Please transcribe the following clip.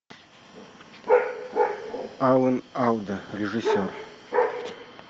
алан алда режиссер